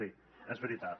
sí és veritat